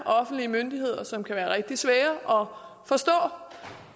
offentlige myndigheder som kan være rigtig svære at forstå